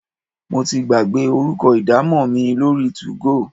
Mo ti gbàgbé orúkọ idamo mi lórí two-go.